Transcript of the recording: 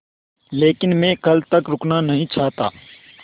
लेकिन मैं कल तक रुकना नहीं चाहता